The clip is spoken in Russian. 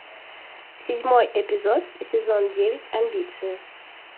седьмой эпизод сезон девять амбиции